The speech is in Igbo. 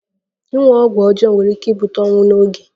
Ịṅụ ọgwụ ọjọọ nwere ike ibute ọnwụ n'oge.